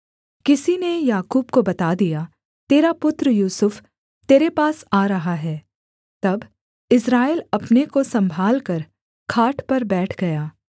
किसी ने याकूब को बता दिया तेरा पुत्र यूसुफ तेरे पास आ रहा है तब इस्राएल अपने को सम्भालकर खाट पर बैठ गया